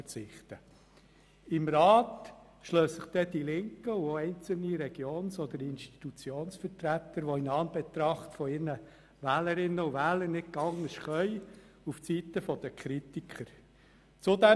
Im Rat schlagen sich dann die Linken oder einzelne Regions- oder Institutionsvertreter in Anbetracht ihrer Wählerinnen und Wähler auf die Seite der Kritiker, weil sie nicht anders können.